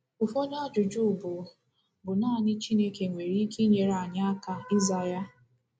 Ụfọdụ ajụjụ bụ bụ nanị Chineke nwere ike inyere anyị aka ịza ya.